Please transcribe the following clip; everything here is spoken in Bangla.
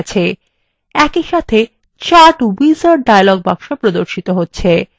একই সাথে chart wizard dialog box প্রর্দশিত হচ্ছে